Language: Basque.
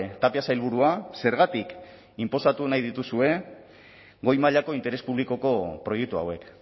tapia sailburua zergatik inposatu nahi dituzue goi mailako interes publikoko proiektu hauek